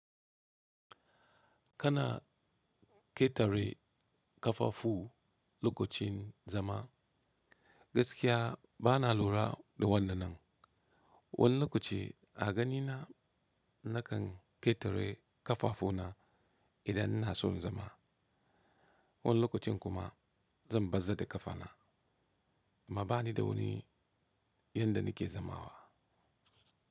Kana ƙetare kafafu lokacin zama. Gaskiya bana lura da wannan nan. Wani lokaci a ganina nakan ƙetare kafafuna idan ina son zama. Wani lokacin kuma zan bazzar da kafana. A bani da wani yanda nake zamawa.